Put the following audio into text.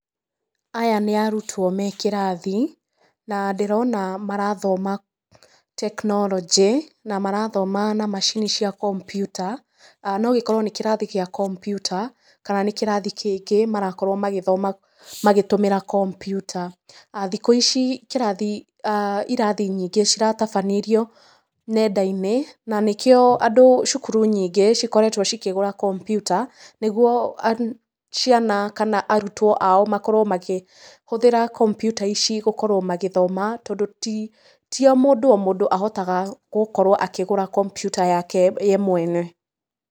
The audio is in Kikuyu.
Aya nĩ arutwo me kĩrathi, na ndĩrona marathoma tekinoronjĩ, na marathoma na macini cia kompiuta. No gĩkorwo nĩ kĩrathi gĩa kompiuta, kana nĩ kĩrathi kĩngĩ marakorwo magĩthoma magĩtũmĩra kompiuta. Thikũ ici kĩrathi, ĩrathi nyingĩ ciratabanĩrio nenda-inĩ, na nĩ kĩo andũ, cukuru nyingĩ cikoretwo cikĩgũra kompiuta, nĩguo ciana kana arutwo ao makorwo magĩhũthĩra kompiuta ici gũkorwo magĩthoma, tondũ ti o mũndũ o mũndu ahotaga gũkorwo akĩgũra kompiuta yake ye mwene.